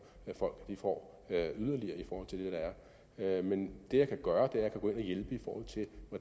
at folk får yderligere i forhold til det der er men det jeg kan gøre